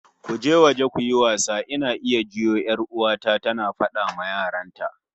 "Go out and play", I can hear my sister ordering her kids